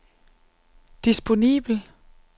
disponibel